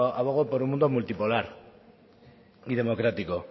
abogo por un mundo multipolar y democrático